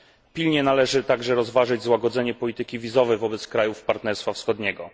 Pilnie należy także rozważyć złagodzenie polityki wizowej wobec krajów Partnerstwa Wschodniego.